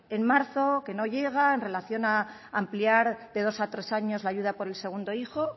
en marzo que no llega en relación a ampliar de dos a tres años la ayuda por el segundo hijo